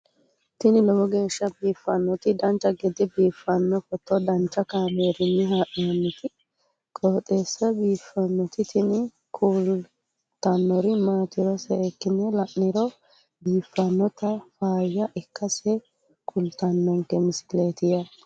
tini lowo geeshsha biiffannoti dancha gede biiffanno footo danchu kaameerinni haa'noonniti qooxeessa biiffannoti tini kultannori maatiro seekkine la'niro biiffannota faayya ikkase kultannoke misileeti yaate